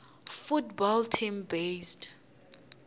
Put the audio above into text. football team based